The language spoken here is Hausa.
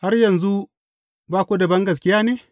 Har yanzu ba ku da bangaskiya ne?